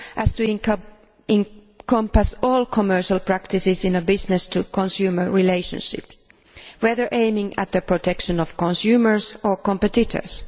to encompass all commercial practices in a business to consumer relationship, whether aiming at the protection of consumers or competitors.